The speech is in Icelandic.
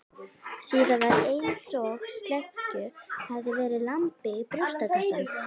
Síðan var einsog sleggju hefði verið lamið í brjóstkassann.